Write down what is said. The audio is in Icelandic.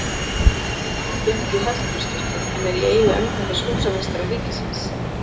Litmyndin er geymd í Hallgrímskirkju, en er í eigu embættis húsameistara ríkisins.